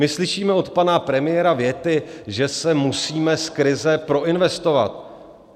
My slyšíme od pana premiéra věty, že se musíme z krize proinvestovat.